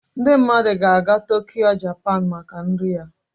Ndị mmadụ ga-aga Tokyo, Japan maka nri Ya